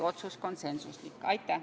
Aitäh!